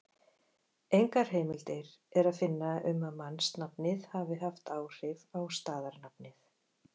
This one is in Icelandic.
Engar heimildir er að finna um að mannsnafnið hafi haft áhrif á staðarnafnið.